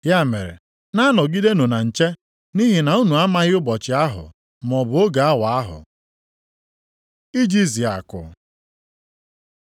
“Ya mere, na-anọgidenụ na nche, nʼihi na unu amaghị ụbọchị ahụ, maọbụ oge awa ahụ. Ijizi akụ